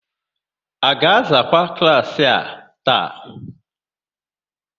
A ga-azakwa klaasị a taa?